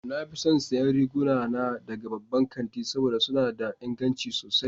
Na fi son siyan riguna na daga babban kanti saboda suna da inganci sosai.